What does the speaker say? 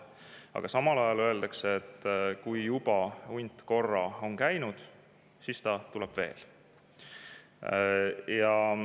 Aga samal ajal öeldakse, et kui hunt on korra juba käinud, siis ta tuleb veel.